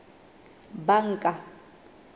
banka